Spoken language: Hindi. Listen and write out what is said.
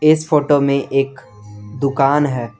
इस फोटो में एक दुकान है।